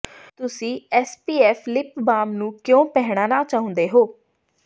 ਤੁਸੀਂ SPF lip balm ਨੂੰ ਕਿਉਂ ਪਹਿਨਣਾ ਚਾਹੁੰਦੇ ਹੋ